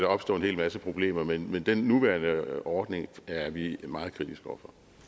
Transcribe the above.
opstå en hel masse problemer men men den nuværende ordning er vi meget kritiske